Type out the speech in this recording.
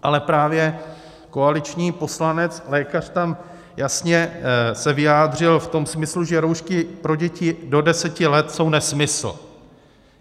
Ale právě koaliční poslanec, lékař, tam jasně se vyjádřil v tom smyslu, že roušky pro děti do deseti let jsou nesmysl.